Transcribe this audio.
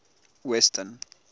western